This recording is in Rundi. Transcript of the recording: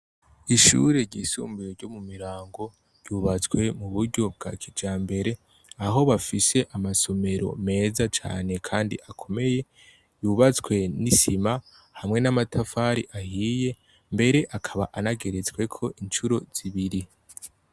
Ishure ryisumbuye ryo mu Mirango , ryubatswe mu buryo bwa kijambere ,aho bafise amasomero meza cane kandi akomeye, yubatswe n' isima hamwe n' amatafari ahiye, mbere akaba anageretsweko incuro zibiri.